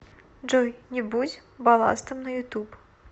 джой не будь балластом на ютуб